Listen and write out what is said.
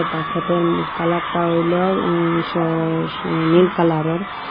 বাকেটেম উম কালারটা হইলো উম সা স নীল কালারোর।